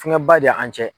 Fɛngɛ ba de y'an cɛ